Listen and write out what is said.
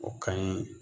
O ka ɲi